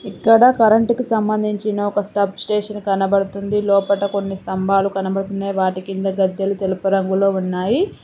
ఇక్కడ కరెంటు కు సంబంధించిన ఒక సబ్ స్టేషన్ కనబడుతుంది లోపట కొన్ని స్తంభాలు కనబడుతున్నాయి వాటి కింద గద్దెలు తెలుపు రంగులో ఉన్నాయి.